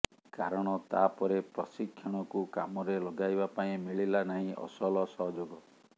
କାରଣ ତା ପରେ ପ୍ରଶିକ୍ଷଣକୁ କାମରେ ଲଗାଇବା ପାଇଁ ମିଳିଲା ନାହିଁ ଅସଲ ସହଯୋଗ